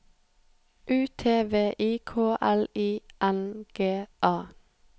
U T V I K L I N G A